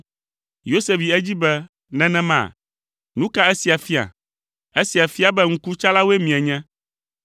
Yosef yi edzi be, “Nenema? Nu ka esia fia? Efia be ŋkutsalawoe mienye.